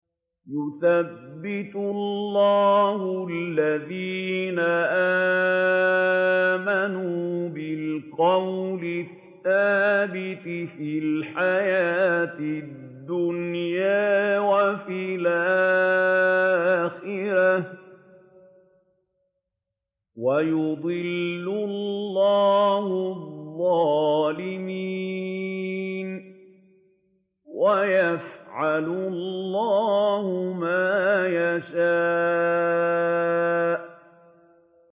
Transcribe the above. يُثَبِّتُ اللَّهُ الَّذِينَ آمَنُوا بِالْقَوْلِ الثَّابِتِ فِي الْحَيَاةِ الدُّنْيَا وَفِي الْآخِرَةِ ۖ وَيُضِلُّ اللَّهُ الظَّالِمِينَ ۚ وَيَفْعَلُ اللَّهُ مَا يَشَاءُ